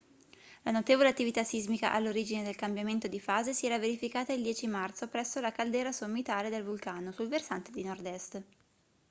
la notevole attività sismica all'origine del cambiamento di fase si era verificata il 10 marzo presso la caldera sommitale del vulcano sul versante di nord-est